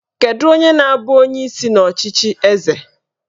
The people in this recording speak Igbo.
Kedu onye na-abụ onyeisi n'ọchịchị eze?